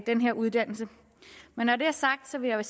den her uddannelse men når det er sagt vil jeg